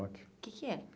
O que que é?